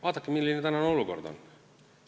Vaadake, milline tänane olukord on.